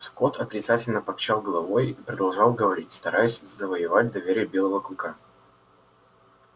скотт отрицательно покачал головой и продолжал говорить стараясь завоевать доверие белого клыка